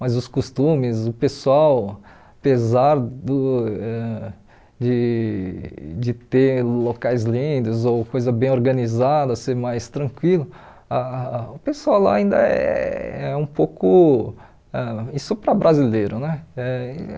Mas os costumes, o pessoal, apesar do ãh de de ter locais lindos ou coisa bem organizada, ser mais tranquilo, ah o pessoal lá ainda eh é um pouco ãh... Isso para brasileiro, né? Eh